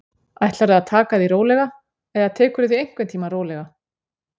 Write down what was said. Ætlarðu að taka því rólega, eða tekurðu því einhvern tímann rólega?